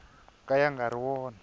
ka ya nga ri wona